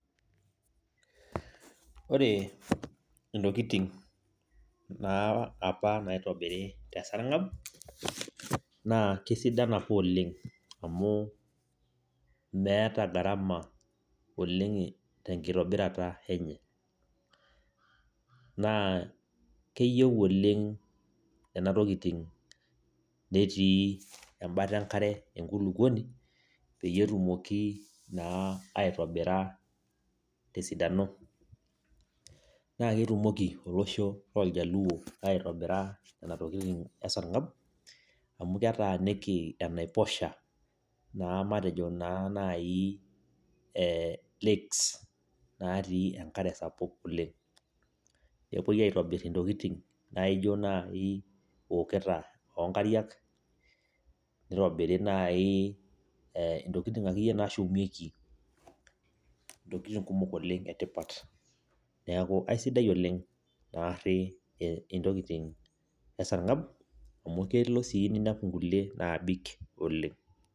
Wore intokitin naa apa naitobirri teesarngab, naa kaisidan apa oleng', amu meeta gharama oleng' tenkitobirata enye. Naa keyieu oleng' niana tokitin netii embata enkare enkulukoni, peyie etumoki naa aitobira tesidano. Naa ketumoki olosho looljaluo aitobira niana tokitin esarngab, amu ketaaniki enaiposha naa matejo naa naii eh lakes natii enkare sapuk oleng'. Epoi aitobirr intokitin naijo naai iwoketa oonkariak, nitobiri naai eh intokitin akeyie naashumieki intokitin kumok oleng' etipat, neeku aisidai oleng' naarri intokitin esarngab, amu kelo sii niniapu inkulie naabik oleng'.